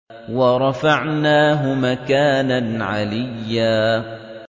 وَرَفَعْنَاهُ مَكَانًا عَلِيًّا